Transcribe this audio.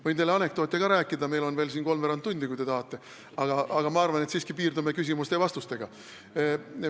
Võin teile anekdoote ka rääkida – meil on veel kolmveerand tundi aega –, kui te tahate, aga ma arvan, et piirdume siiski küsimuste ja vastustega.